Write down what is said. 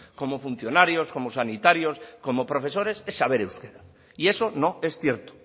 como funcionarios como sanitarios como profesores es saber euskera y eso no es cierto